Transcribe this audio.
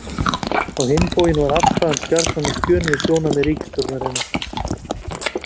Á hinn bóginn var afstaða hans gjarnan á skjön við sjónarmið ríkisstjórnarinnar.